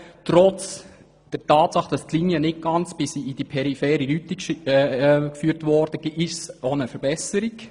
Trotz der Tatsache, dass die Linie nicht ganz in die periphere Rüti führt, handelt es sich um eine Verbesserung.